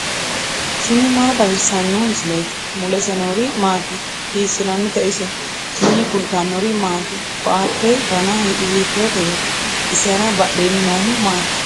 tini maa xawissanno misileeti ? mulese noori maati ? hiissinannite ise ? tini kultannori maati? Koatte danna hiittootteya? isera badheenni noohu maatti?